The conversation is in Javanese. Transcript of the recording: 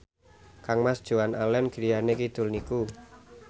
kangmas Joan Allen griyane kidul niku